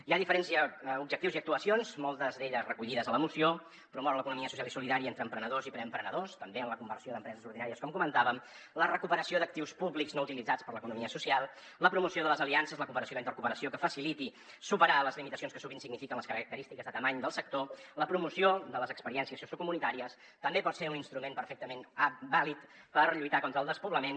hi ha diferents objectius i actuacions moltes d’elles recollides a la moció promoure l’economia social i solidària entre emprenedors i preemprenedors també en la conversió d’empreses ordinàries com comentàvem la recuperació d’actius públics no utilitzats per l’economia social la promoció de les aliances la cooperació i la intercooperació que faciliti superar les limitacions que sovint signifiquen les característiques de dimensió del sector la promoció de les experiències sociocomunitàries també pot ser un instrument perfectament vàlid per lluitar contra el despoblament